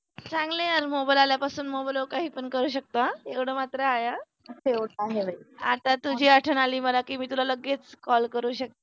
चांगले यार mobile आल्या पासून mobile वर काही करू शकतो हा एवढं मात्र आहे हा आता तुझी आठवण आली मला की मी तुला लगेच call करू शकते.